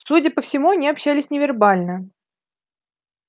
судя по всему они общались невербально